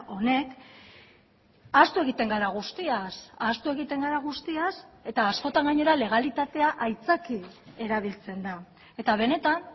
honek ahaztu egiten gara guztiaz ahaztu egiten gara guztiaz eta askotan gainera legalitatea aitzaki erabiltzen da eta benetan